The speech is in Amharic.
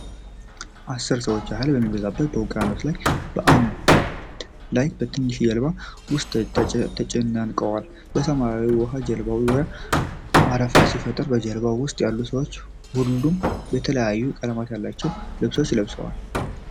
አስር ሰዎች ያህል በሚበዛው ውቅያኖስ ላይ በአንድ ላይ በትንሽ ጀልባ ውስጥ ተጨናንቀዋል። ሰማያዊው ውሃ በጀልባው ዙሪያ አረፋ ሲፈጥር፣ በጀልባው ውስጥ ያሉት ሰዎች ሁሉም የተለያዩ ቀለም ያላቸው ልብሶች ለብሰዋል።